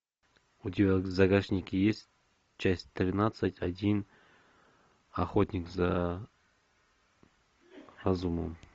у тебя в загашнике есть часть тринадцать один охотник за разумом